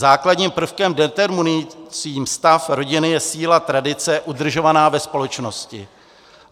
Základním prvkem determinujícím stav rodiny je síla tradice udržovaná ve společnosti.